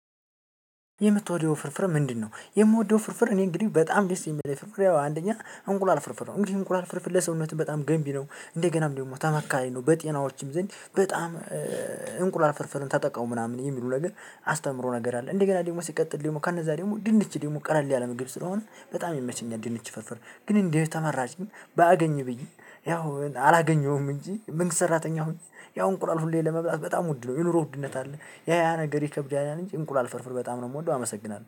የምትወደው ፍርፍር ምንድነው? የምወደው ፍርፍር እኔ እንግዲህ በጣም ደስ የሚለኝ ፍርፍር የው አንደኛ እንቁላል ፍርፍር ነው። እንግዲህ እንቁላል ፍርፍር ለሰውነት በጣም ገንቢ ነው እንደገናም ደግሞ ተመካሪ ነው። በጤናዎችም ዘንድ በጣም እንቁላል ፍርፍርን ተጠቀሙ ምናምን የሚሉ ነገር አስተምሮ ነገር አለ። እንደገና ደግሞ ሲቀጥል ደግሞ ከነዛ ደግሞ ድንች ደግሞ ቀለል ያለ ምግብ ስለሆነ በጣም ይመቸኛል። ድንች ፍርፍር ግን እንደው ተመራጭ ባገኝ ብዬ ያው አላገኘውም እንጂ መንግስት ሰራተኛ ሁሉ ያው እንቁላል ሁሌም ለመብላት በጣም ውድ ነው የኑሮ ውድነት አለ። ያ ያ ነገር ይከብዳል እንጂ እንቁላል ፍርፍር በጣም ነው የምወደው አመሰግናለሁ።